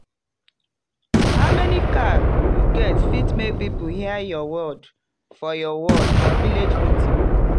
how many cow you get fit make people hear your word for your word for village meeting.